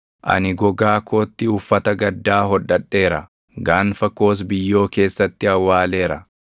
“Ani gogaa kootti uffata gaddaa hodhadheera; gaanfa koos biyyoo keessatti awwaaleera.